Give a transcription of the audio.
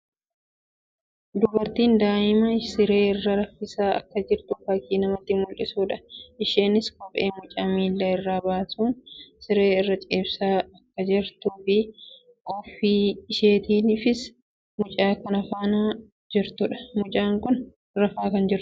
Dubartiin daa'ima siree irra raffisaa akka jirtu fakkii namatti mullisuu dha. Isheenis kophee mucaa miilla irraa baasuun sirree irra ciibsaa kan jirtuu fi ofii isheetiifis mucaa faana kan jirtuu dha. Mucaan kun rafaa kan jirtuu dha?